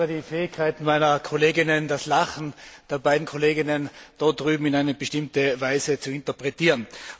Ich bewundere die Fähigkeit meiner Kolleginnen, das Lachen der beiden Kolleginnen dort drüben in einer bestimmten Weise zu interpretieren.